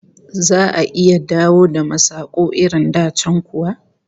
Za'a iya dawo da masaku irin da can kuwa?